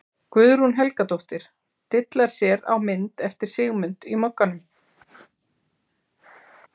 Guðrún Helgadóttir dillar sér á mynd eftir Sigmund í Mogganum.